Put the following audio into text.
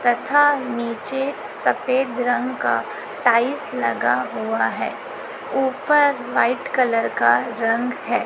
तथा नीचे सफेद रंग का टाइल्स लगा हुआ है ऊपर व्हाइट कलर का रंग है।